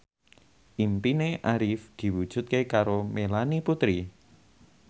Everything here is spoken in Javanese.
impine Arif diwujudke karo Melanie Putri